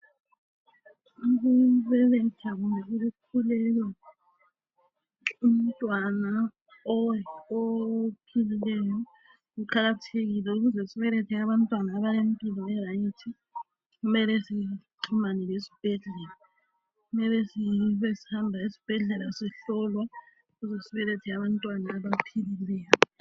Ukubeletha kumbe ukukhulelwa umntwana ophilileyo kuqakathekile. Ukuze sibelethe abantwana abalempilo erayithi, kumele sixhumane lesibhedlela. Kumele sibesihamba esibhedlela sihlolwa ukuze sibelethe abantwana abaphilileyo.